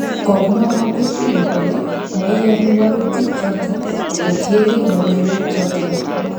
Komwa magufuli kole maiyoni walutik choton kotienge logoiwek choton